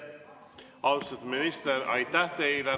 Austatud minister, aitäh teile!